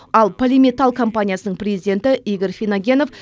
ал полиметалл компаниясының президенті игорь финогенов